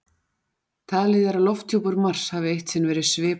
Talið er að lofthjúpur Mars hafi eitt sinn verið svipaður lofthjúpi jarðar.